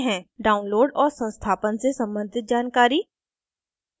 download और संस्थापन से सम्बंधित जानकारी